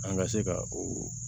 An ka se ka oo